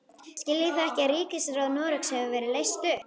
Skiljið þið ekki að ríkisráð Noregs hefur verið leyst upp!